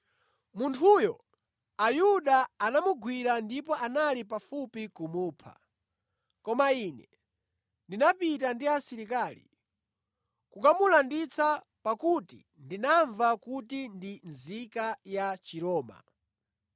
Munthuyo Ayuda anamugwira ndipo anali pafupi kumupha, koma ine ndinapita ndi asilikali nʼkukamulanditsa pakuti ndinamva kuti ndi nzika ya Chiroma.